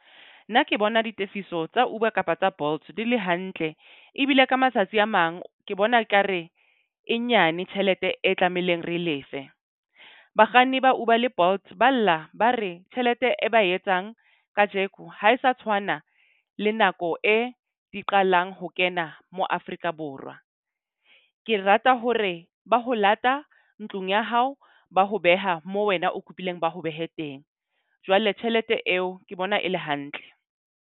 Nna ke bona ditefiso tsa Uber kapa tsa Bolt di le hantle. Ebile ka matsatsi a mang ke bona ekare e nyane tjhelete e tlamehileng re lefe. Bakganni ba Uber le Bolt ba lla ba re tjhelete e ba etsang kajeko. Ha e sa tshwana le nako e di qalang ho kena mo Afrika Borwa. Ke rata hore ba ho lata ntlong ya hao ba ho beha mo wena o kopileng ba ho behe teng jwale tjhelete eo ke bona e le hantle.